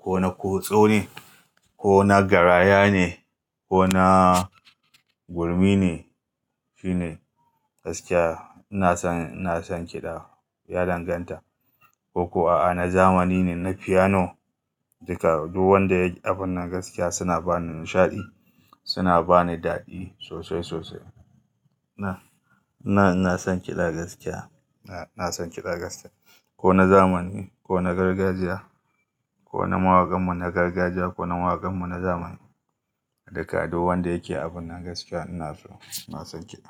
ko na kutso ne, ko na garaya ne, ko na gurmi ne, shi ne gaskiya. Ina son, ina son kiɗa ya danganta. Ko kuwa a na zamani ne, na fiyano, duka duk wanda yake abun nan gaskiya suna bani nishaɗi, suna bani daɗi sosai sosai. Na, na, ina son kiɗa gaskiya. Na, ina son kiɗa gaskiya. Ko na zamani, ko na gargajiya, ko na mawakan mu na gargajiya, ko na mawakan mu na zamani. Duka duk wanda yake abun nan gaskiya ina so. Ina son kiɗa.